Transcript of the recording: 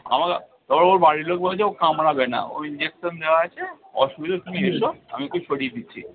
আমাকে তারপরে ওর বাড়ির লোক বলছে ও কামড়াবে না ও injection দেওয়া আছে অসুবিধা নেই, তুমি এসো, আমি ওকে সরিয়ে দিচ্ছি।